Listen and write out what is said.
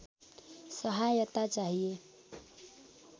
सहायता चाहिए